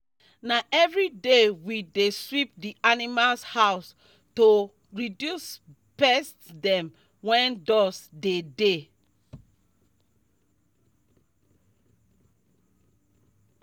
na every day we dey sweep d animals house to reduce pest dem wen dust dey dey